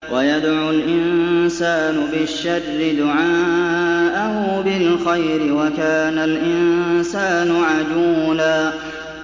وَيَدْعُ الْإِنسَانُ بِالشَّرِّ دُعَاءَهُ بِالْخَيْرِ ۖ وَكَانَ الْإِنسَانُ عَجُولًا